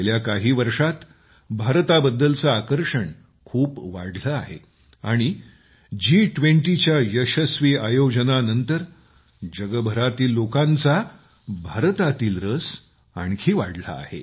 गेल्या काही वर्षांत भारताबद्दलचे आकर्षण खूप वाढले आहे आणि जी20 च्या यशस्वी आयोजनानंतर जगभरातील लोकांचा भारतातील रस आणखी वाढला आहे